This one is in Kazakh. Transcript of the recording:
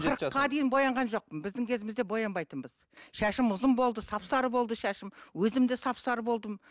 қырықа дейін боянған жоқпын біздің кезімізде боянбайтынбыз шашым ұзын болды сап сары болды шашым өзім де сап сары болдым